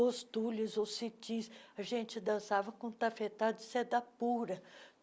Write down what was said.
Os túlios, os cetins, a gente dançava com um tafetá de seda pura.